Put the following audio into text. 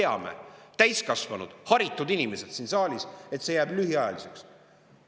Ja me kõik – täiskasvanud ja haritud inimesed siin saalis – teame, et see jääb lühiajaliseks.